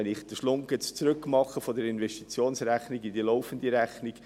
Ich mache jetzt die Verbindung zwischen der Investitionsrechnung und der laufenden Rechnung: